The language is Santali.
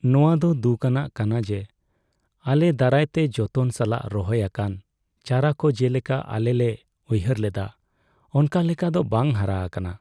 ᱱᱚᱶᱟ ᱫᱚ ᱫᱩᱠ ᱟᱱᱟᱜ ᱠᱟᱱᱟ ᱡᱮ ᱟᱞᱮ ᱫᱟᱨᱟᱭᱛᱮ ᱡᱚᱛᱚᱱ ᱥᱟᱞᱟᱜ ᱨᱚᱦᱚᱭ ᱟᱠᱟᱱ ᱪᱟᱨᱟ ᱠᱚ ᱡᱮᱞᱮᱠᱟ ᱟᱞᱮ ᱞᱮ ᱩᱭᱦᱟᱹᱨ ᱞᱮᱫᱟ ᱚᱱᱠᱟ ᱞᱮᱠᱟ ᱫᱚ ᱵᱟᱝ ᱦᱟᱨᱟ ᱟᱠᱟᱱᱟ ᱾